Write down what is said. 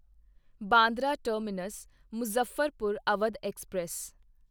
Bandra terminus Muzaffarpur Awadh express